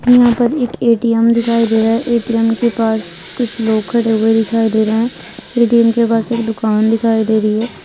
यहाँ पर एक ए_टी_एम दिखाई दे रहा है एटीएम के पास कुछ लोग खड़े हुए दिखाई दे रहे हैं ए_टी_एम के पास एक दुकान दिखाई दे रही है।